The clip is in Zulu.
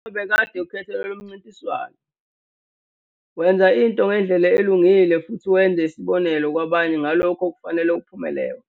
Uma bekade ukhethelwe lomncintiswano, wenza into ngendlela elungile futhi wenza isibonelo kwabanye ngalokho okufanele kuphumelewe.